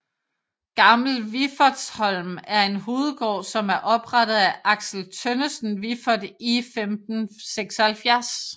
Gammel Wiffertsholm er en hovedgård som er oprette af Axel Tønnesen Viffert i 1576